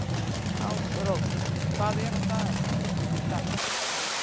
Ásrós, hvað er á dagatalinu mínu í dag?